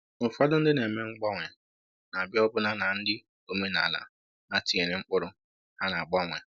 Ụfọdụ ndị na-eme mgbanwe na-abịa ọbụna na nri omenala ha tinyere mkpụrụ ha na-agbanwe.